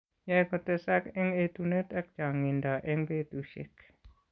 Yae kotesak eng' etunet ak chang'indo eng' betushiek.